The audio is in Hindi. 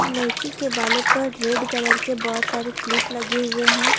लड़की के बालों पर रेड कलर के बहुत सारे क्लिप लगे हुए हैं।